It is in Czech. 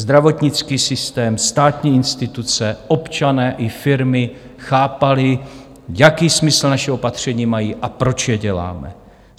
Zdravotnický systém, státní instituce, občané i firmy chápali, jaký smysl naše opatření mají a proč je děláme.